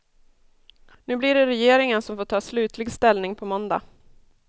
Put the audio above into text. Nu blir det regeringen som får ta slutlig ställning på måndag.